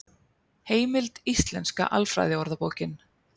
Heimild Íslenska alfræðiorðabókin.